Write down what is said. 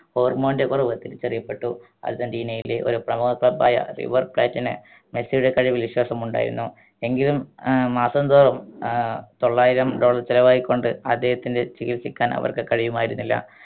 hormone ന്റെ കുറവ് തിരിച്ചറിയപ്പെട്ടു അർജന്റീനയിലെ ഒരു പ്രമുഖ club ആയ river plat ന് മെസ്സിയുടെ കഴിവിൽ വിശ്വാസമുണ്ടായിരുന്നു എങ്കിലും ഏർ മാസംതോറും ഏർ തൊള്ളായിരം dollar ചെലവാക്കിക്കൊണ്ട് അദ്ദേഹത്തിൻറെ ചികിൽസിക്കാൻ അവർക്ക് കഴിയുമായിരുന്നില്ല